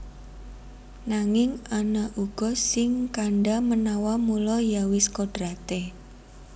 Nanging ana uga sing kandha manawa mula ya wis kodraté